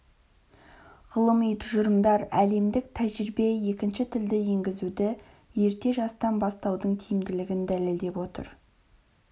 ғылыми тұжырымдар әлемдік тәжірибе екінші тілді енгізуді ерте жастан бастаудың тиімділігін дәлелдеп отыр